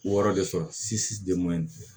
Wɔɔrɔ de sɔrɔ